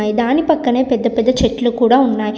దాని పక్కనే పెద్ద పెద్ద చెట్లు కూడా ఉన్నాయి.